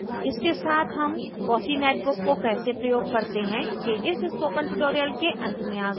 इसके साथ हम fossee netbook को कैसे प्रयोग करते हैं के इस tutorial के अंत में आ गए हैं